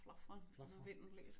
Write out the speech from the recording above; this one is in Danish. Flafrer når vinden blæser